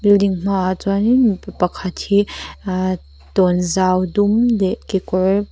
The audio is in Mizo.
ding hmaah chuanin mipa pakhat hi a tawnzau dum leh kekawr--